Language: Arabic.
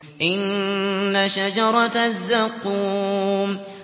إِنَّ شَجَرَتَ الزَّقُّومِ